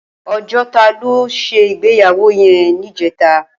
Ojota lò ti sé igbéyàwó yèn nijètá